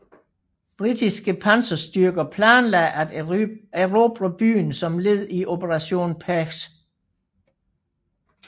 Britiske panserstyrker planlagde at erobre byen som led i Operation Perch